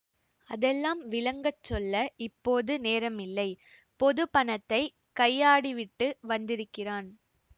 அதெல்லாம் விளங்கச் சொல்ல இப்போது நேரமில்லை பொது பணத்தை கையாடிவிட்டு வந்திருக்கிறான்